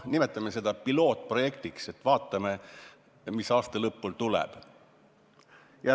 Nimetame seda pilootprojektiks, vaatame, mis seis aasta lõpul on.